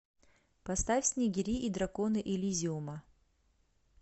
поставь снегири и драконы элизиума